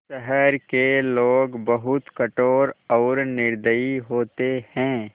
शहर के लोग बहुत कठोर और निर्दयी होते हैं